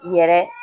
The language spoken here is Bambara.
Yɛrɛ